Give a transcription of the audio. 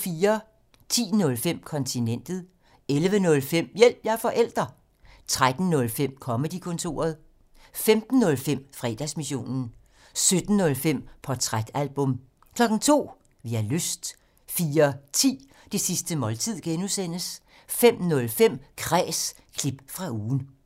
10:05: Kontinentet 11:05: Hjælp – jeg er forælder! 13:05: Comedy-kontoret 15:05: Fredagsmissionen 17:05: Portrætalbum 02:00: Vi har lyst 04:10: Det sidste måltid (G) 05:05: Kræs – klip fra ugen